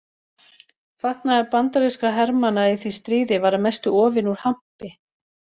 Fatnaður bandarískra hermanna í því stríði var að mestu ofinn úr hampi.